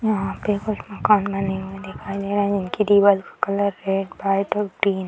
यहां पर कुछ मकान बने हुए दिखाई दे रहे हैं जिनके दीवारों का कलर रेड व्हाइट और ग्रीन --